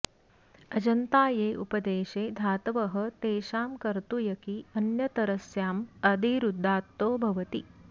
अजन्ता ये उपदेशे धातवः तेषां कर्तृयकि अन्यतरस्याम् आदिरुदात्तो भवति